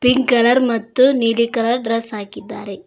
Pink colour ಮತ್ತು ನೀಲಿ colour dress ಹಾಕಿದ್ದಾರೆ.